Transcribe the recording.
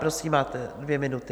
Prosím, máte dvě minuty.